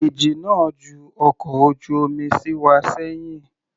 Ìjì náà ju ọkọ̀ ojú omi sí wá sẹ́hìn.